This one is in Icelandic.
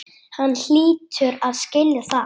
Hann hlýtur að skilja það.